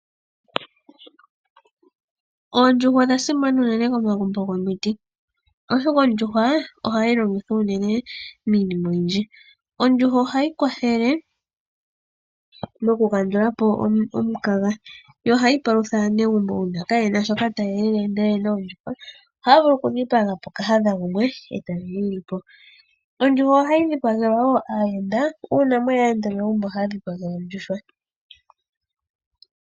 Oondjuhwa odha simana unene komagumbo gomiti, oshoka ondjuhwa ohayi longithwa unene miinima oyindji . Ondjuhwa ohayi kwathele mokukandula po omukaga. Ohayi palutha aanegumbo uuna kaye na shoka taya elele ndele oye na oondjuhwa ohaya vulu okudhipaga po kahadha gumwe e taye mu li po. Ondjuhwa ohayi dhipagelwa wo aayende uuna ye ya megumbo.